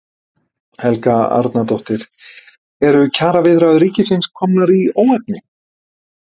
Helga Arnardóttir: Eru kjaraviðræður ríkisins komnar í óefni?